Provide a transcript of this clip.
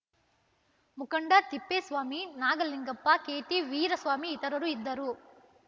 ಮುಖಂಡ ತಿಪ್ಪೇಸ್ವಾಮಿ ನಾಗಲಿಂಗಪ್ಪ ಕೆಟಿ ವೀರಸ್ವಾಮಿ ಇತರರು ಇದ್ದರು